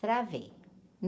Travei.